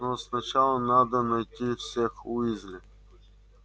но сначала надо найти всех уизли